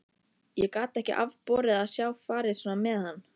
Ég gat ekki afborið að sjá farið svona með hann.